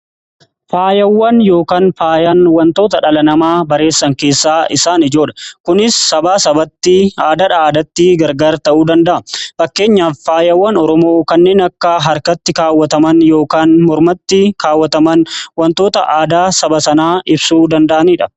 Faayawwan yookaan faayaan wantoota dhala namaa bareechan keessaa isaan ijoodha. Kunis sabaa sabatti aadaa aadaatti gargar ta'uu danda'a. Fakkeenyaaf faayawwan Oromoo kanneen akka harkatti kaawwataman yookaan mormatti kaawwataman wantoota aadaa saba sanaa ibsuu danda'anidha.